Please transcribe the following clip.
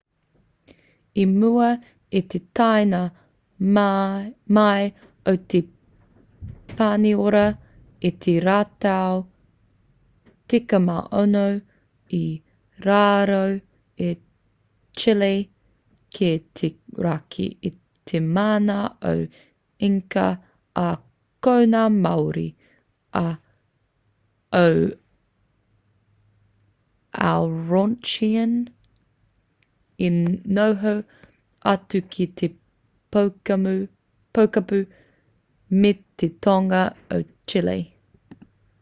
i mua i te taenga mai o te paniora i te rautau 16 i raro a chile ki te raki i te mana o inca ā ko ngā māori o araucanian mapuche i noho atu ki te pokapū me te tonga o chile